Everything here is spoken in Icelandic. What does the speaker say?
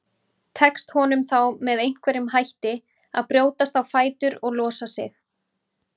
Tekst honum þá með einhverjum hætti að brjótast á fætur og losa sig.